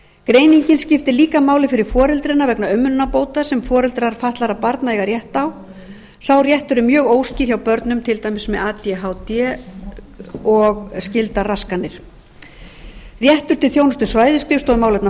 greiningin skiptir líka máli fyrir foreldrana vegna umönnunarbóta sem foreldrar fatlaðra barna eiga rétt á sá réttur er mjög óskýr hjá börnum til dæmis með adhd og skyldar raskanir réttur til þjónustu svæðisskrifstofu um málefni